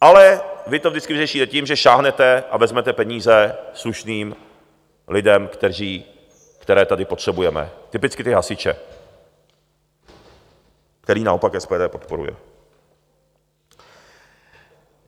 Ale vy to vždycky vyřešíte tím, že sáhnete a vezmete peníze slušným lidem, které tady potřebujeme, typicky ty hasiče, které naopak SPD podporuje.